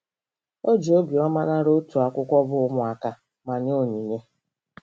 O ji obiọma nara otu akwụkwọ bụ́ Ụmụaka* ma nye onyinye.